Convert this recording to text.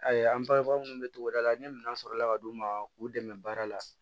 Ayi an bangebaga minnu bɛ togoda la ni minɛn sɔrɔla ka d'u ma k'u dɛmɛ baara la